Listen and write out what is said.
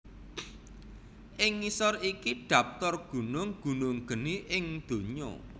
Ing ngisor iki dhaptar gunung gunung geni ing donya